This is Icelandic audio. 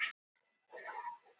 Hvessir enn frekar suðvestanlands